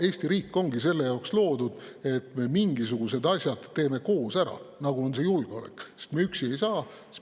Eesti riik ongi selleks loodud, et me mingisugused asjad, nagu on julgeolek, teeksime koos ära, sest üksi ei saa.